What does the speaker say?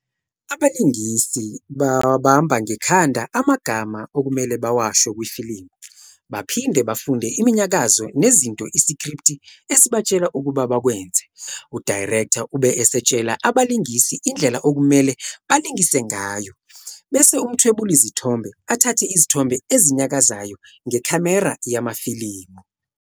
Abalingisi bawabamba ngekhanda amagama okumele bawasho kwifilimu baphinde bafunde iminyakazo nezinto isikripthi esibatshela ukuba bakwenze. U"director" ube esetshela abalingisi indlela okumele balingise ngayo bese umthwebulizithombe athathe izithombe ezinyakazayo ngekhamera yamafilimu.